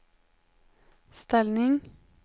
ställning